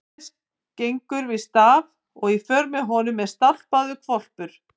Jóhannes gengur við staf og í för með honum er stálpaður hvolpur.